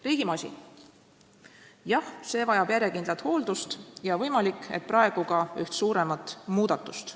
Riigimasin, jah, see vajab järjekindlat hooldust ja võimalik, et praegu ka üht suuremat muudatust.